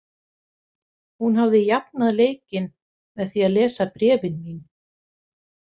Hún hafði jafnað leikinn með því að lesa bréfin mín.